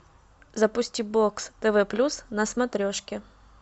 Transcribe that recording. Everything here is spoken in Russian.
запусти бокс тв плюс на смотрешке